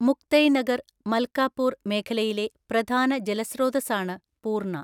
മുക്തൈനഗർ, മൽകാപൂർ മേഖലയിലെ പ്രധാന ജലസ്രോതസ്സാണ് പൂർണ.